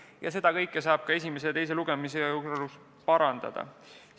Ja seda kõike saab ka esimese ja teise lugemise vahel täiendada.